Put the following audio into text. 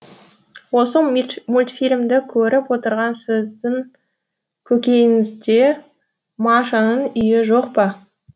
осы мультфильмді көріп отырған сіздің көкейіңізде машаның үйі жоқ па